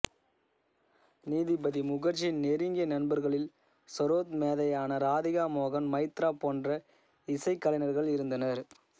நீதிபதி முகர்ஜியின் நெருங்கிய நண்பர்களில் சரோத் மேதையான ராதிகா மோகன் மைத்ரா போன்ற இசைக்கலைஞர்கள் இருந்தனர்